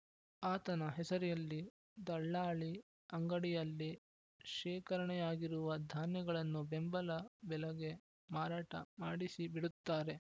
ಆತನ ಹೆಸರೆಯಲ್ಲಿ ದಲ್ಲಾಳಿ ಅಂಗಡಿಯಲ್ಲಿ ಶೇಖರಣೆಯಾಗಿರುವ ಧಾನ್ಯಗಳನ್ನು ಬೆಂಬಲ ಬೆಲಗೆ ಮಾರಾಟ ಮಾಡಿಸಿಬಿಡುತ್ತಾರೆ